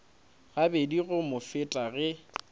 gabedi go mo feta ge